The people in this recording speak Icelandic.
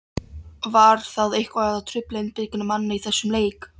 Var það eitthvað að trufla einbeitingu manna í þessum leik?